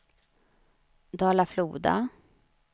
Dala-Floda